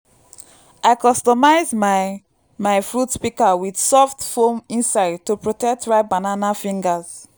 i customise my my fruit pika with soft foam inside to protect ripe banana fingers.